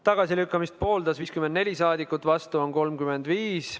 Tagasilükkamist pooldas 54 rahvasaadikut, vastu on 35.